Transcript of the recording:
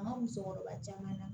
A ma musokɔrɔba caman na